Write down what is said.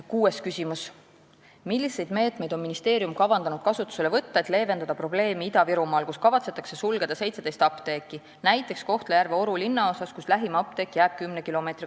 Kuues küsimus: "Milliseid meetmeid on ministeerium kavandanud kasutusele võtta, et leevendada probleemi Ida-Virumaal, kus kavatsetakse sulgeda 17 apteeki ?